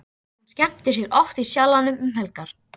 Hún skemmtir sér oft í Sjallanum um helgar.